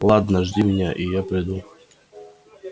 ладно жди меня и я приду